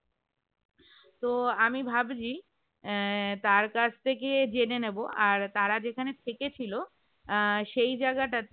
তো আমি ভাবছি আহ তার কাছ থেকে জেনে নেব আর তারা যেখানে থেকে ছিল আহ সেই জায়গাটাতে